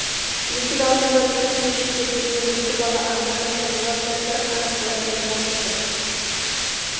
есік алдында түртіншектеп жүрген екі бала анда-санда олар да бір қарап қояды жалт етіп